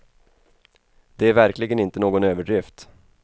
Det är verkligen inte någon överdrift.